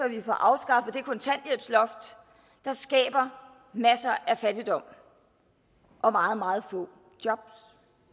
vi får afskaffet det kontanthjælpsloft der skaber masser af fattigdom og meget meget få jobs